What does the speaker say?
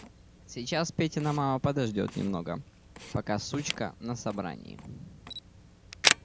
сейчас петина мама подождёт немного пока сучка на собрании